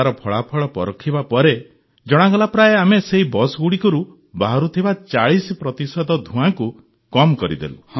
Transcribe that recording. ତାର ଫଳାଫଳ ପରଖିବା ପରେ ଜଣାଗଲା ପ୍ରାୟ ଆମେ ସେହି ବସ୍ଗୁଡ଼ିକରୁ ବାହାରୁଥିବା ୪୦ ପ୍ରତିଶତ ଧୂଆଁକୁ କମ୍ କରିଦେଲୁ